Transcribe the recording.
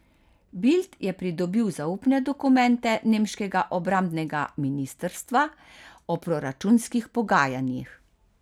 Bild je pridobil zaupne dokumente nemškega obrambnega ministrstva o proračunskih pogajanjih.